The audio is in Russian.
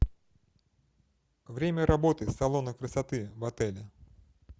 время работы салона красоты в отеле